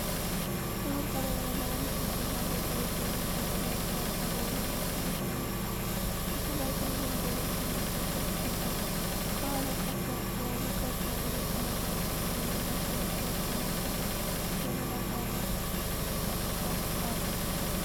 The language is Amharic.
ጥቁር ቀለም ያለው አንድ ቡችላ በፀሐይ ብርሃን ፈዛዛ ግራጫ በሆነ ማሽን ላይ ተቀምጧል። ቡችላው ትልልቅ ጆሮዎችና ጥቁር ፊት አለው። ከኋላው ከፍ ያሉ ቀጥ ያሉ ነጭና ግራጫ ቀለም ያላቸው ነገሮች እና ከላይ የገለባ ጣሪያ ጠርዝ አለ።